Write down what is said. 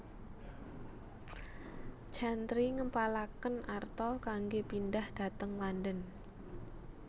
Chantrey ngempalaken arta kanggé pindhah dhateng London